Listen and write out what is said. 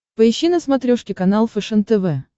поищи на смотрешке канал фэшен тв